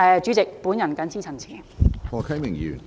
主席，我謹此陳辭。